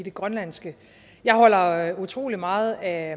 i det grønlandske jeg holder utrolig meget af